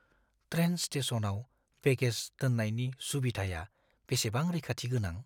Train स्टेशनआव baggage दोननायनि सुबिधाया बेसेबां रैखाथि गोनां?